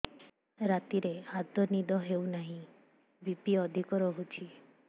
ରାତିରେ ଆଦୌ ନିଦ ହେଉ ନାହିଁ ବି.ପି ଅଧିକ ରହୁଛି